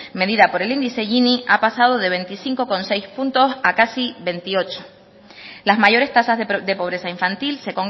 medida por el índice gini ha pasado de veinticinco coma seis puntos a casi veintiocho las mayores tasas de pobreza infantil se